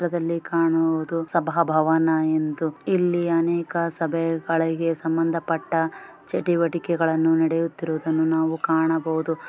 ಈ ಚಿತ್ರದಲ್ಲಿ ಕಾಣುವುದು ಸಭಾಭವನ ಎಂದು ಇಲ್ಲಿ ಅನೇಕ ಸಭೆಗಳಿಗೆ ಸಂಬಂಧಪಟ್ಟ ಚಟುವಟಿಕೆಗಳನ್ನು ನಡೆಯುತ್ತಿರುವುದನ್ನು ನಾವು ಕಾಣಬಹುದು .